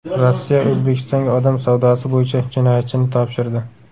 Rossiya O‘zbekistonga odam savdosi bo‘yicha jinoyatchini topshirdi.